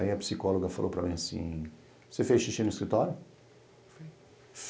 Aí a psicóloga falou para mim assim, você fez xixi no escritório?